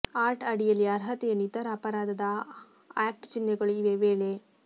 art ಅಡಿಯಲ್ಲಿ ಅರ್ಹತೆಯನ್ನು ಇತರ ಅಪರಾಧದ ಆಕ್ಟ್ ಚಿಹ್ನೆಗಳು ಇವೆ ವೇಳೆ